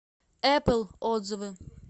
эпл отзывы